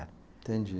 Entendi